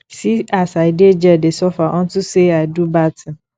see as i dey jail dey suffer unto say i do bad thing